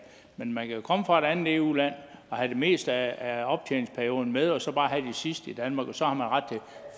men man kan jo komme fra et andet eu land og have det meste af optjeningsperioden med og så bare have den sidste del i danmark og så har man ret til